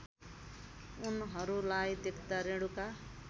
उनहरूलाई देख्दा रेणुका